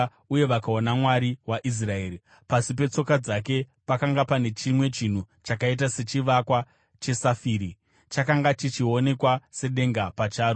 uye vakaona Mwari waIsraeri. Pasi petsoka dzake pakanga pane chimwe chinhu chakaita sechivakwa chesafire, chakanga chichionekwa sedenga pacharo.